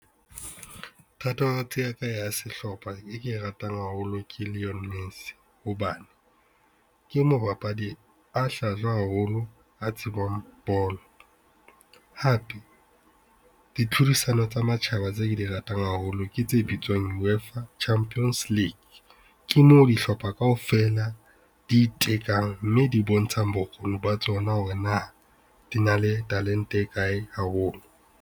Thatohatsi ya ka ya sehlopha e ke e ratang haholo ke Lionel Messi hobane, ke mobapadi a hlajwa haholo a tsebang bolo. Hape, ditlhodisano tsa matjhaba tseo ke di ratang haholo ke tse bitswang UEFA Champions League. Ke moo dihlopha kaofela di itekang mme di bontshang bokgoni ba tsona hore na di na le talente e kae haholo.